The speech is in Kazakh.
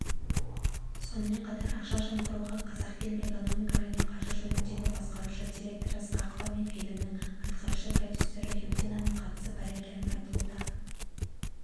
сонымен қатар ақшажымқыруға қазақфильм экономика және қаржы жөніндегі басқарушы директоры ысқақова менфильмнің атқарушы продюсері юдинаның қатысы бар екені айтылуда